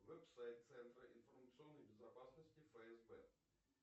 веб сайт центра информационной безопасности фсб